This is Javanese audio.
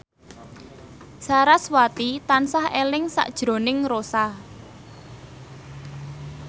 sarasvati tansah eling sakjroning Rossa